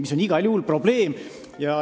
See on igal juhul probleem.